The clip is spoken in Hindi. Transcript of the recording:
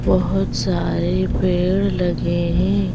बहुत सारे पेड़ लगे हैं।